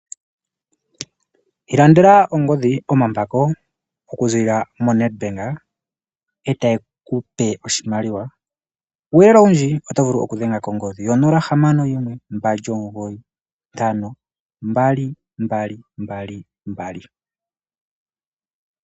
Ilandela ongodhi, omambako okuziilila moNedbank etaye kupe oshimaliwa. Kuuyelele owundji otovulu okudhenga kongodhi yo 0612952222.